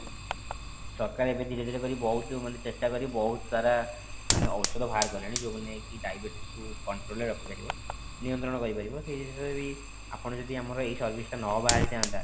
ସରକାର ଏବେ ଧୀରେ ଧୀରେ କରି ବହୁତ ମାନେ ଚେଷ୍ଟା କରିକି ବହୁତ ସାରା ମାନେ ଔଷଧ ବାହାର କଲେଣି ଯେଉଁ ମାନେ କି diabetes କି control ରେ ରଖି ପାରିବ ନିୟନ୍ତ୍ରଣ କରି ପାରିବ ସେଇ ଜିନିଷରେ ବି ଆପଣ ଯଦି ଆମର ଏଇ service ଟା ନ ବାହାରି ଥାନ୍ତା